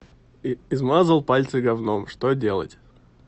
измазал пальцы говном что делать